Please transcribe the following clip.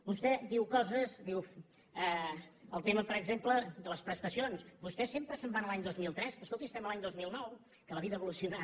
vostè diu coses diu el tema per exemple de les prestacions vostè sempre se’n va a l’any dos mil tres escolti estem a l’any dos mil nou que la vida ha evolucionat